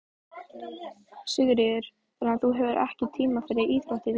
Sigríður: Þannig að þú hefur ekki tíma fyrir íþróttir líka?